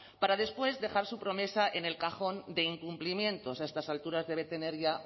para después dejar su promesa en el cajón de incumplimientos a estas alturas debe tener ya